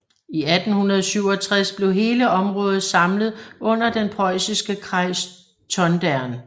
I 1867 blev hele området samlet under den prøjsiske Kreis Tondern